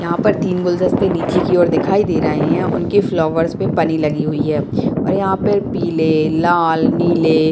यहाँ पर तीन गुलदस्ते नीचे की और दिखाई दे रहें हैं उनके फ्लावर्स पे पन्नी लगी हुई है और यहाँ पर पीले लाल नीले --